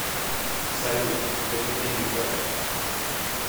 салют тебе хоть деньги платят